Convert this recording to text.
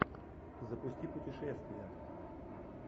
запусти путешествия